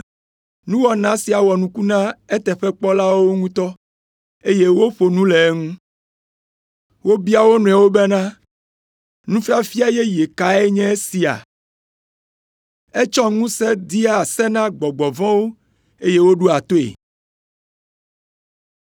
Nuwɔna sia wɔ nuku na eteƒekpɔlawo ŋutɔ, eye woƒo nu le eŋu. Wobia wo nɔewo bena, nufiafia yeye kae nye esia? Etsɔ ŋusẽ dea se na gbɔgbɔ vɔ̃wo eye woɖoa toe.